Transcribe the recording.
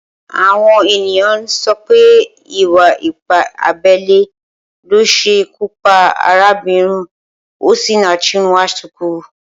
Awọn éniyàn n sọ wìpé ìwá ìpá àbẹlé ló ṣé ikù pà àrábinrín Ósinaṣi Nwánṣùkù